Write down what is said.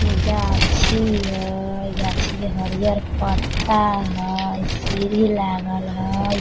ने गाछी हय गाछी के हरिहर पत्ता हय सीढ़ी लागल हय।